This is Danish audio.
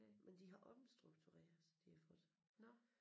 Men de har omstruktureret så de har fået